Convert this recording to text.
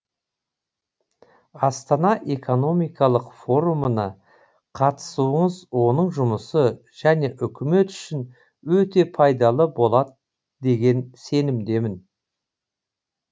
астана экономикалық форумына қатысуыңыз оның жұмысы және үкімет үшін өте пайдалы болады деген сенімдемін